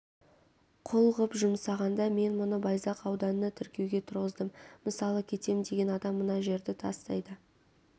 құл ғып жұмсағанда мен мұны байзақ ауданына тіркеуге тұрғыздым мысалы кетем деген адам мына жерді тастайды